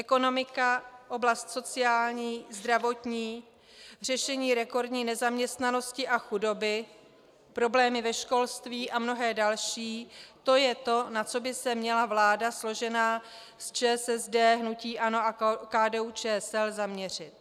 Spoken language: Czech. Ekonomika, oblast sociální, zdravotní, řešení rekordní nezaměstnanosti a chudoby, problémy ve školství a mnohé další, to je to, na co by se měla vláda složená z ČSSD, hnutí ANO a KDU-ČSL zaměřit.